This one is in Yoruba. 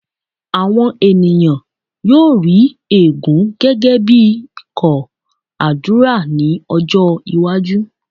̀wọn ènìyàn yóò rí ègún gẹ́gẹ́ bí kóó àdúrà ní ọjọ́-iwájú.